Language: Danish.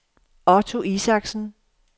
Otto Isaksen